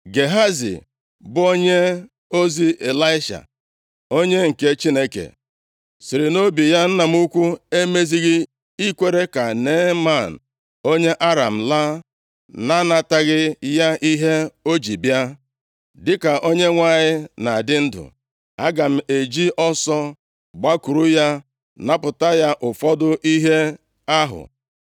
Gehazi, bụ onyeozi Ịlaisha onye nke Chineke, sịrị nʼobi ya, “Nna m ukwu emezighị ikwere ka Neeman onye Aram laa na-anataghị ya ihe o ji bịa. Dịka Onyenwe anyị na-adị ndụ, aga m eji ọsọ gbakwuru ya napụta ya ụfọdụ ihe ahụ.”